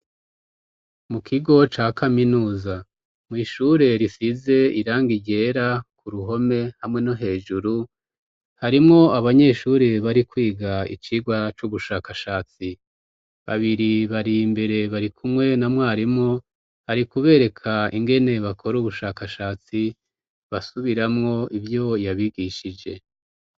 Mu kigo ca kaminuza, mw'ishure risize irangi ryera ku ruhome hamwe no hejuru, harimwo abanyeshure bari kwiga icigwa c'ubushakashatsi. Babiri bari imbere bari kumwe na mwarimu, ari kubereka ingene bakora ubushakashatsi, basubiramo ivyo yabigishije.